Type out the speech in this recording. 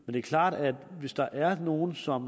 er klart at hvis der er nogle som